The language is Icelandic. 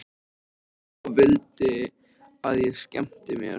Hló og vildi að ég skemmti mér.